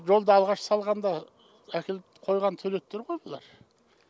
осы жолды алғаш салғанда әкеліп қойған туалеттер ғой бұлар